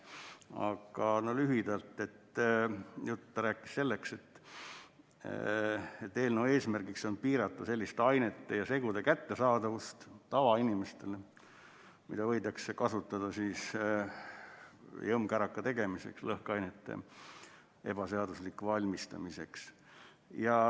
Aga lühidalt ütlen, et ta rääkis sellest, et eelnõu eesmärk on piirata selliste ainete ja segude kättesaadavust tavainimestele, mida võidakse kasutada jõmmkäraka tegemiseks, lõhkeainete ebaseaduslikuks valmistamiseks.